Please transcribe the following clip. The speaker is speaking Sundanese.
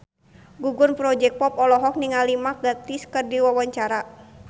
Gugum Project Pop olohok ningali Mark Gatiss keur diwawancara